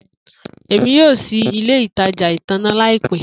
Emi yoo ṣii ile itaja itanna laipẹ